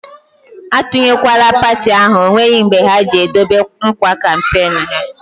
A tunyekwala parti ahụ, ọ nweghị mbe ha ji e dobe nkwa kampenu ha!